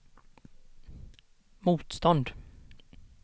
motstånd